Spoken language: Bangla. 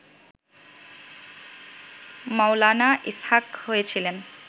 মৌলানা ইসহাক হয়েছিলেন